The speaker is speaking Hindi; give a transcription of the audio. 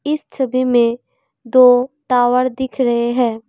इस छवि में दो टावर दिख रहे हैं।